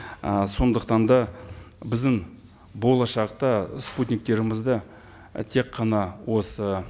ы сондықтан да біздің болашақта спутниктерімізді і тек қана осы